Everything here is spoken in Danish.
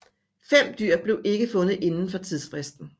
Fem dyr blev ikke fundet indenfor tidsfristen